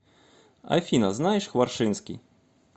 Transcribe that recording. афина знаешь хваршинский